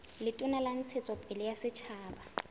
letona la ntshetsopele ya setjhaba